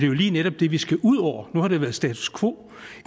jo lige netop det vi skal ud over nu har det været status quo